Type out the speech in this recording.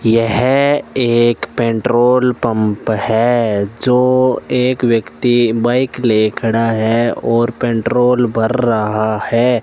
यह एक petrol pump है जो एक व्यक्ति बाइक लिए खड़ा है और पेट्रोल भर रहा है।